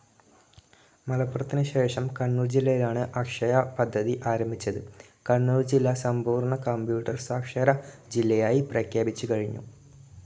മലപ്പുറത്തിന് ശേഷം കണ്ണൂർ ജില്ലയിലാണ് അക്ഷയ പദ്ധതി ആരംഭിച്ചത്. കണ്ണൂർ ജില്ല സമ്പൂർണ്ണ കമ്പ്യൂട്ടർ സാക്ഷര ജില്ലയായി പ്രഖ്യാപിച്ചു കഴിഞ്ഞു.